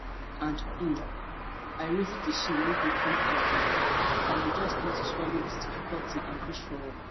and um i reason di shame wey go come afta i go just need to swallow di difficulty and push forward